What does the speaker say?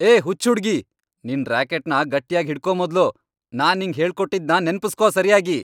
ಏ ಹುಚ್ಚ್ ಹುಡ್ಗಿ! ನಿನ್ ರ್ಯಾಕೆಟ್ನ ಗಟ್ಯಾಗ್ ಹಿಡ್ಕೋ ಮೊದ್ಲು. ನಾನ್ ನಿಂಗ್ ಹೇಳ್ಕೊಟ್ಟಿದ್ನ ನೆನ್ಪುಸ್ಕೋ ಸರ್ಯಾಗಿ.